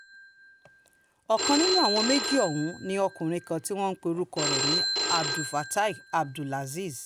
ọ̀kan nínú àwọn méjì ọ̀hún ni ọkùnrin kan tí wọ́n pe orúkọ ẹ̀ ní abdulfatai abdulazeez